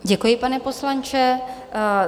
Děkuji, pane poslanče.